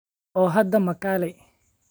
Oo hadda ma kaalay?